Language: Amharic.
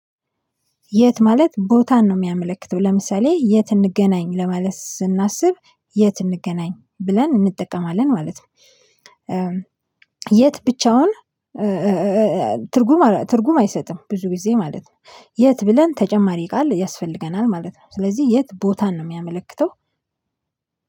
የት ማለት ቦታን ነው የሚያመለክተው ለምሳሌ የት እንገናኝ ለማለት ስናስብ የት እንገናኝ ብለን እንጠቀማለን ማለት ነው። የት ብቻውን። ትርጉም ትርጉም አይሰጥም ብዙ ጊዜ ማለት ነው። የት ብለን ተጨማሪ ቃል ያስፈልገናል ማለት ነው። ስለዚህ የት ቦታን ነው የሚያመለክተው።